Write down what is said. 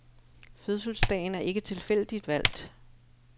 Fødselsdagen er ikke tilfældigt valgt.